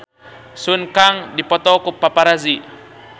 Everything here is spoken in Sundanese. Sun Kang dipoto ku paparazi